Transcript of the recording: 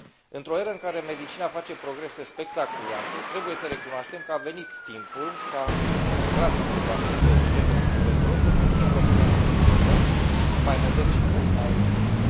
Într o eră în care medicina face progrese spectaculoase, trebuie să recunoaștem că a venit timpul ca clasicul vaccin BCG pentru tuberculoză să fie înlocuit cu unul nou, mai modern și mult mai eficient.